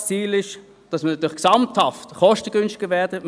Das Ziel ist es, gesamthaft kostengünstiger zu werden.